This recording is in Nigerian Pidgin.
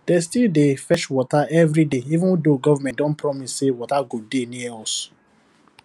dey still dey fetch water every day even though government don promise say water go dey near us